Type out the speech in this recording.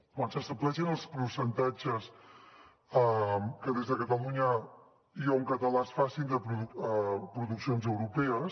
quan s’estableixen els percentatges que des de catalunya i o en català es facin de produccions europees